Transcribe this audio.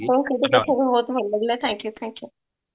ହଁ ଆପଣଙ୍କ ସହ କଥା ହେଇକି ମତେ ବି ଭଲ ଲାଗିଲା thank you thank you